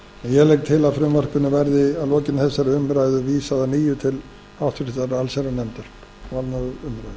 ég legg til að frumvarpinu verði að lokinni þessari umræðu vísað að nýju til allsherjarnefndar og annarrar umræðu